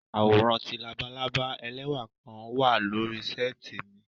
Àworan ti labalaba ẹlẹwa kan wa lori seeti mi